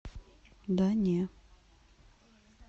да не